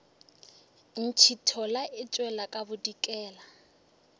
ntšhithola e tšwela ka bodikela